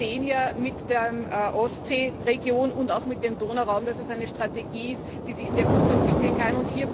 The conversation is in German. Wir sehen ja mit der Ostsee Region und auch mit dem Donauraum, dass es eine Strategie ist, die sich sehr gut entwickeln kann.